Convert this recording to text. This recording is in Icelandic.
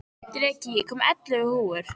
Dreki, ég kom með ellefu húfur!